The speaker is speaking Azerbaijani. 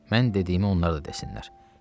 Mən dediyimi onlar da desinlər.